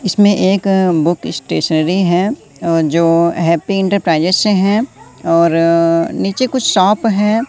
इसमें एक अ बुक स्टेशनरी हैं अ जो हैप्पी इंटरप्राइजेज से हैं और अ नीचे कुछ शॉप है।